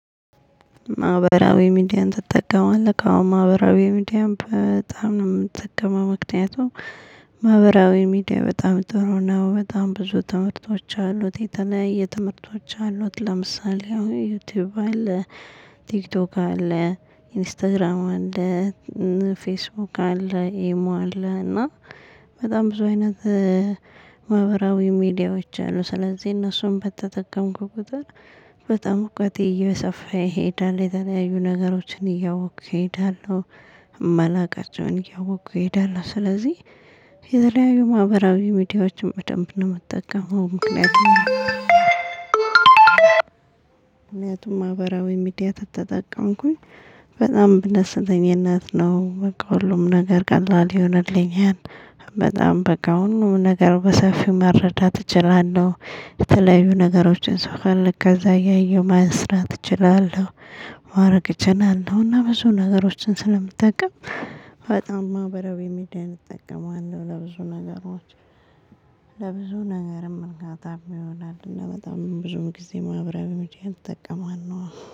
ማህበራዊ ሚዲያን ትጠቀማለክ? አዎ ማህበራዊ ሚዲያን በጣም ነው እምጠቀመው ምክንያቱም። ማህበራዊ ሚዲያ በጣም ጥሩ ነው በጣም ብዙ ትምህርቶች አሉት የተለያየ ትምህርቶች አሉት ለምሳሌ ዩቲዩብ አለ ቲክቶክ አለ ኢንስታግራም አለ ፌስቡክ አለ ኢሞ አለ እና በጣም ብዙ አይነት። ማህበራዊ ሚዲያዎች አሉ ስለዚህ እነሱን በተጠቀምኩ ቁጥር በጣም እውቀቴ እየሰፋ ይሄዳል የተለያዩ ነገሮችን እያወኩ እሄዳለሁ። እማላቀቻውን እያወኩ እሄዳለሁ ስለዚህ። የተለያዩ ማህበራዊ ሚዲያዎችን በደንብ ነው የምትጠቀመው? ምክንያቱም ማህበራዊ ሚዲያ ተተጠቀምኩኝ በጣም በደስተኝነት ነው በቃ ሁሉም ነገር ቀላል ይሁንልኛል። በጣም በቃው ሁሉም ነገር በሰፊው መረዳት እችላለሁ። የተለያዩ ነገሮችን ስፈልግ ከዛ እያየሁ መስራት እችላለሁ። ማረግ እችላለሁ እና ብዙ ነገሮችን ስለምጠቀም በጣም ማህበራዊ ሚዲያ እጠቀማለሁ ለብዙ ነገሮች። ለብዙ ነገርም እርካታም ይሆናል እና በጣም ብዙም ጊዜ ማህበራዊ ሚዲያን እጠቀማለው።